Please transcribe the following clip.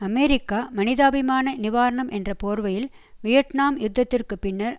America மனிதாபிமான நிவாரணம் என்ற போர்வையில் வியட்னாம் யுத்தத்திற்கு பின்னர்